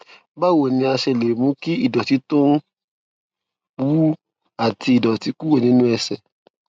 báwo ni a ṣe lè mú kí ìdòtí tó ń wú àti ìdòtí kúrò nínú ẹsè